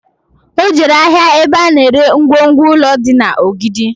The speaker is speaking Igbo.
O jere ahịa ebe a na ere ngwongwo ụlọ dị na Ogidi